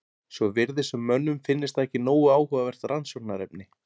Svo virðist sem mönnum finnist það ekki nógu áhugavert rannsóknarefni.